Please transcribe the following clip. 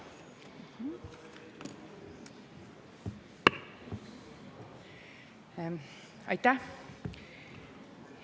Aitäh!